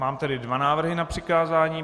Mám tedy dva návrhy na přikázání.